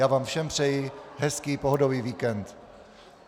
Já vám všem přeji hezký pohodový víkend.